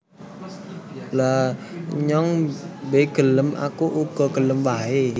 Lha nyong be gelem Aku uga gelem wae